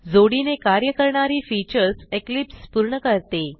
जोडीने कार्य करणारी फीचर्स इक्लिप्स पूर्ण करते